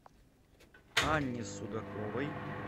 анне судаковой